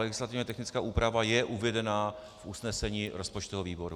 Legislativně technická úprava je uvedena v usnesení rozpočtového výboru.